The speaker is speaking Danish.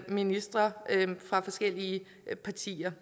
ministre fra forskellige partier